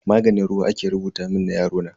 Maganin ruwa aka rubuta mun na yarona.